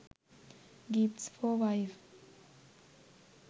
gifts for wife